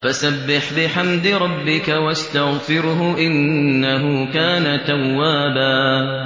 فَسَبِّحْ بِحَمْدِ رَبِّكَ وَاسْتَغْفِرْهُ ۚ إِنَّهُ كَانَ تَوَّابًا